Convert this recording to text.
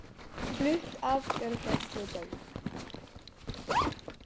Flutt af gjörgæsludeild